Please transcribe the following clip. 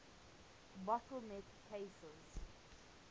bottle neck cases